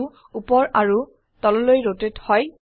view উপৰ আৰুৱ তললৈ ৰোটেট হয়